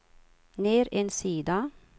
ner en sida